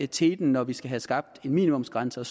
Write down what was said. teten når vi skal have skabt en minimumsgrænse og